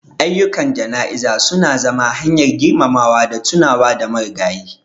Ayyukan jana'iza su na zama hanyar girmamawa da tunawa da marigayin.